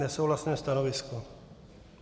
Nesouhlasné stanovisko.